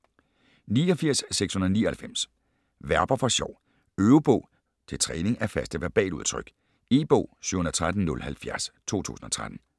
89.699 Verber for sjov Øvebog til træning af faste verbaludtryk E-bog 713070 2013.